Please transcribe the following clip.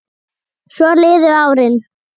Svo liðu árin.